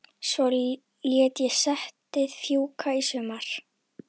Svo lét ég settið fjúka í sumar.